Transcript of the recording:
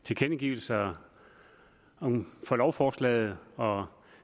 tilkendegivelser om lovforslaget og